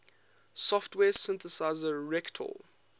software synthesizer reaktor